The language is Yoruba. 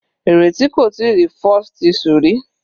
Ireti kò tíì rí falsethistle rí.